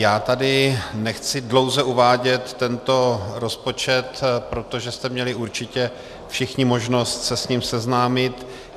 Já tady nechci dlouze uvádět tento rozpočet, protože jste měli určitě všichni možnost se s ním seznámit.